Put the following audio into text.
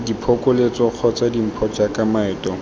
diphokoletso kgotsa dimpho jaaka maeto